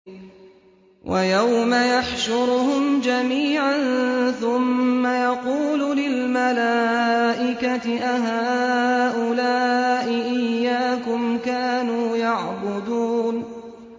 وَيَوْمَ يَحْشُرُهُمْ جَمِيعًا ثُمَّ يَقُولُ لِلْمَلَائِكَةِ أَهَٰؤُلَاءِ إِيَّاكُمْ كَانُوا يَعْبُدُونَ